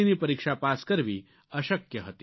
ની પરીક્ષા પાસ કરવી અશક્ય હતી